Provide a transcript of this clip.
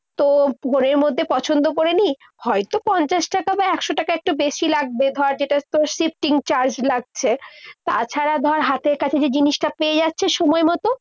তো মধ্যে পছন্দ করে নিই। হয়তো পঞ্চাশ টাকা বা একশো টাকা একটা বেশি লাগবে। ধর যেটা তোর shifting charge লাগছে। তাছাড়া ধর হাতের কাছে যে জিনিসটা পেয়ে যাচ্ছে সময়মতো,